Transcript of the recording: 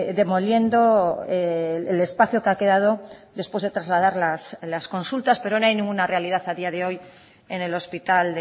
demoliendo el espacio que ha quedado después de trasladar las consultas pero no hay ninguna realidad a día de hoy en el hospital